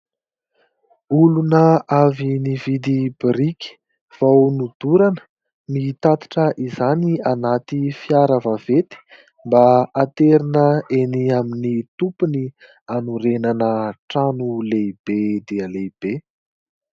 Olona avy nividy biriky vao nodorana, mitatitra izany anaty fiara vaventy mba haterina eny amin'ny tompony hanorenana trano lehibe dia lehibe.